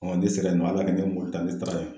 ni e sera yen nɔ a bɛɛ nin kɛ mɔbili ta